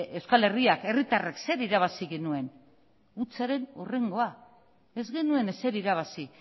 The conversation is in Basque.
euskal herriak herritarrek zer irabazi genuen hutsaren hurrengoa ez genuen ezer irabazi